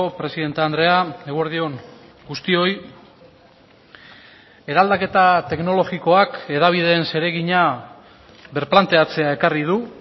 presidente andrea eguerdi on guztioi eraldaketa teknologikoak hedabideen zeregina birplanteatzea ekarri du